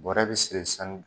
Bɔrɛ bi siri san